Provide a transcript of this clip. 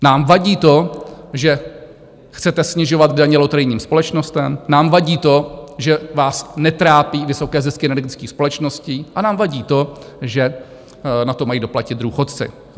Nám vadí to, že chcete snižovat daně loterijním společnostem, nám vadí to, že vás netrápí vysoké zisky energických společností, a nám vadí to, že na to mají doplatit důchodci.